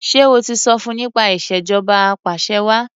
Ṣé o ti sọ fun nípa ìṣèjọba apàṣẹwàá?